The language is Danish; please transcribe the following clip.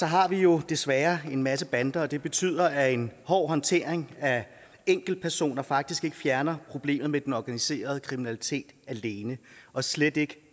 har vi jo desværre en masse bander og det betyder at en hård håndtering af enkeltpersoner faktisk ikke fjerner problemet med den organiserede kriminalitet alene og slet ikke